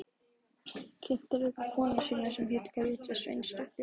Kynnti líka konu sína sem hét Gréta Sveinsdóttir.